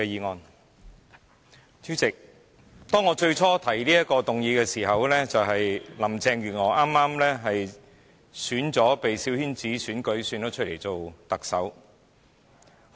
代理主席，我當初提出這項議案時，正值林鄭月娥被小圈子推選為特首。